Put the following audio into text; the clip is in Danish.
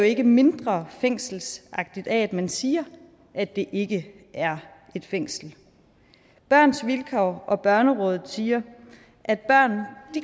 ikke mindre fængselsagtigt af at man siger at det ikke er et fængsel børns vilkår og børnerådet siger at børn